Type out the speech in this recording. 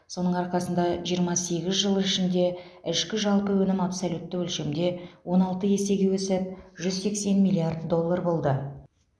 соның арқасында жиырма сегіз жыл ішінде ішкі жалпы өнім абсолютті өлшемде он алты есеге өсіп жүз сексен миллиард доллар болды